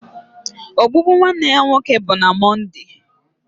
Ogbugbu nwanne ya nwoke bụ na Mọnde